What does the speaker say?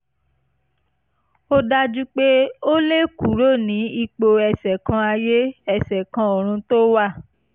ó dájú pé ó lè kúrò ní ipò ẹsẹ̀ kan ayé ẹsẹ̀ kan ọ̀run tó wà